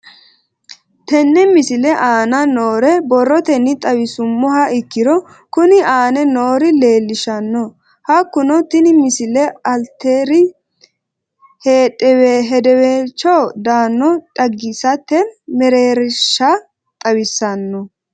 Tenne misile aana noore borrotenni xawisummoha ikirro kunni aane noore leelishano. Hakunno tinni misile alter hedeewelicho dano xagisate meererishsha xawissanno.